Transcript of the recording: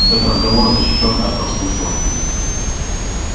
этот разговор защищён от подслушивания